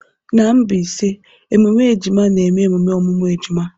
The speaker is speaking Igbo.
N'Mbaise ememe ejima na-eme emume ọmụmụ ejima.